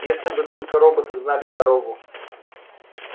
если бы только роботы знали дорогу